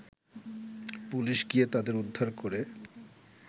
police গিয়ে তাদের উদ্ধার করে